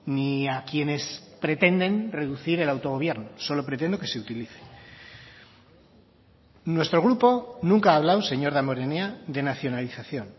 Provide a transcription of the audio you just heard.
ni a quienes pretenden reducir el autogobierno solo pretendo que se utilice nuestro grupo nunca ha hablado señor damborenea de nacionalización